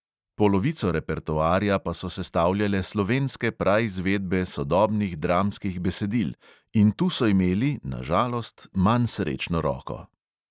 Polovico repertoarja pa so sestavljale slovenske praizvedbe sodobnih dramskih besedil in tu so imeli, na žalost, manj srečno roko.